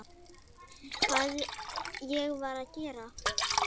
Hvað ég var að gera?